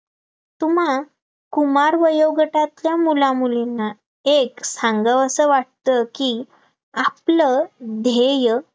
तुम्हा कुमार वयोगटातल्या मुलामुलींना एक सांगावसं वाटतं की आपलं ध्येय,